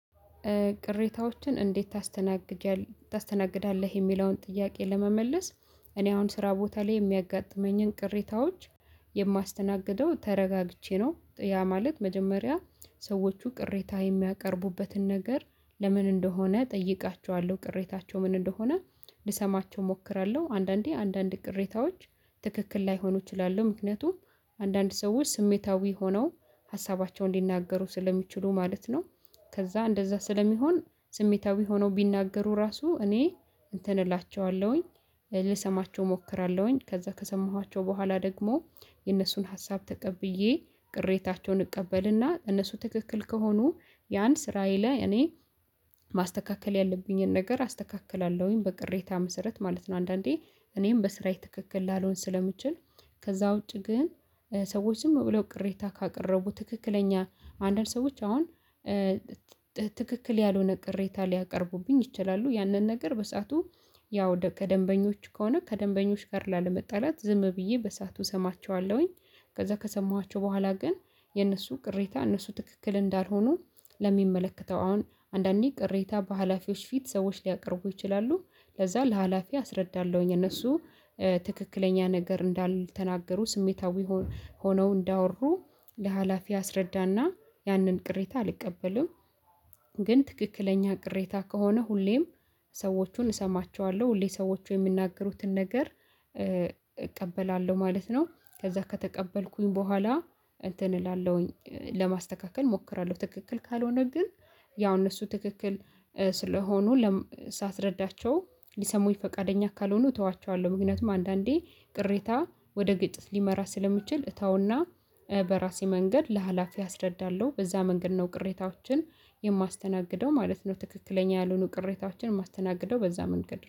ቅሬታዎችን እንዴት ታስተናግዳለህ የሚለውን ጥያቄ? ለመመለስ እኔ አሁን ስራ ቦታ ላይ የሚያጋጥመኝን ቅሬታዎች የማስተናግደው ተረጋግቼ ነው። ያ ማለት መጀመሪያ ሰዎቹ ቅሬታ የሚያቀርቡበትን ነገር ለምን እንደሆነ እጠይቃቸዋለሁ ቅሬታቸው ምን እንደሆነ ልሰማቸው እሞክራለሁ። አንዳንዴ አንዳንድ ቅሬታዎች ትክክል ላይሆኑ እችላለሁ ምክንያቱም አንዳንድ ሰዎች ስሜታዊ ሆነው ሀሳባቸውን ሊናገሩ ስለሚችሉ ማለት ነው። ከዛ እንደዛ ስለሚሆን ስሜታዊ ሆነው ቢናገሩ ራሱ እኔ እንትን እላቸዋለሁኝ ልሰማቸው እሞክራለሁኝ። ከዛ ከሰማኋቸው በኋላ ደግሞ የነሱን ሀሳብ ተቀብዬ ቅሬታቸውን እቀበልና እነሱ ትክክል ከሆኑ ያን ስራዬ ላይ እኔ ማስተካከል ያለብኝን ነገር አስተካክላለሁኝ በቅሬታ መሰረት ማለት ነው። አንዳንዴ እኔም በስራዬ ትክክል ላልሆን ስለምችል። ከዛ ውጪ ግን ሰዎች ዝም ብለው ቅሬታ ካቀረቡ ትክክለኛ አንዳንድ ሰዎች አሁን ትክክል ያልሆነ ቅሬታ ሊያቀርቡብኝ ይችላሉ ያንን ነገር በሰአቱ ያው ከደንበኞች ከሆነ ከደንበኞች ጋር ላለመጣላት ዝም ብዬ በሰአቱ እሰማቸዋለሁኝ። ከዛ ከሰማኋቸው በኋላ ግን የነሱ ቅሬታ እነሱ ትክክል እንዳልሆኑ ለሚመለከተው አሁን አንዳንዴ ቅሬታ በሃላፊዎች ፊት ሰዎች ሊያቀርቡ ይችላሉ። ለዛ ለሀላፊ አስረዳለሁኝ እነሱ ትክክለኛ ነገር እንዳልተናገሩ ስሜታዊ ሆነው እንዳወሩ ለሀላፊ አስረዳና ያንን ቅሬታ አልቀበልም። ግን ትክክለኛ ቅሬታ ከሆነ ሁሌም ሰዎቹን እሰማቸዋለሁ ሁሌ ሰዎቹ የሚናገሩትን ነገር ማለት ነው። ከዛ ከተቀበልኩኝ በኋላ እንትን እላለሁኝ ለማስተካከል እሞክራለሁ ትክክል ካልሆነ ግን ያው እነሱ ትክክል ስለሆኑ ሳትረዳቸው ሊሰሙኝ ፈቃደኛ ካልሆኑ እተዋቸዋለሁ። ምክንያቱም አንዳንዴ ቅሬታ ወደ ግጥጭት ሊመራ ስለሚችል እተውና በራሴ መንገድ ለሀላፊ አስረዳለሁ በዛ መንገድ ነው ቅሬታዎችን የማስተናግደው ማለት ነው። ትክክለኛ ያልሆኑ ቅሬታዎችን ማስተናገደው በዛ መንገድ